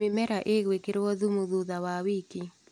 Mĩmera ĩgwĩkĩrwo thumu thutha wa wiki.